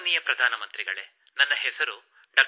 ಮಾನನೀಯ ಪ್ರಧಾನಮಂತ್ರಿಗಳೇ ನನ್ನ ಹೆಸರು ಡಾ